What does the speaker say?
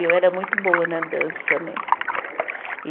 E eu era muito boa na dança, né? E